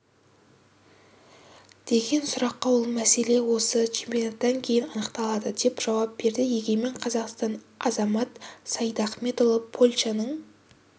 деген сұраққа ол мәселе осы чемпионаттан кейін анықталады деп жауап берді егемен қазақстан азамат сайдахметұлы польшаның